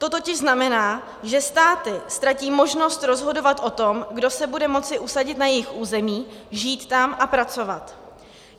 To totiž znamená, že státy ztratí možnost rozhodovat o tom, kdo se bude moci usadit na jejich území, žít tam a pracovat.